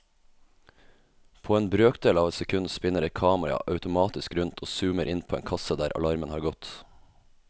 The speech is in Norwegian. På en brøkdel av et sekund spinner et kamera automatisk rundt og zoomer inn på en kasse der alarmen har gått.